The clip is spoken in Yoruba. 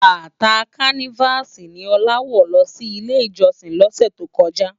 Bàtá Kánivási ni Ola wò lò si Ilé Ijòsin lòsè tókòjá